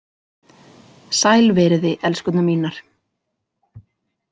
Sæl veriði, elskurnar mínar